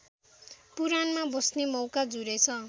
पुराणमा बस्ने मौका जुरेछ